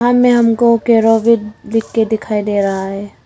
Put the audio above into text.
सामने हम को केरोविट लिख के दिखाई दे रहा है।